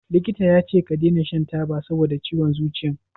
Likita yace ka dena shan taba saboda ciwon zuciyan?